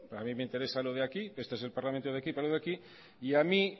a mí me interesa lo de aquí que este es el parlamento de aquí para lo de aquí y a mí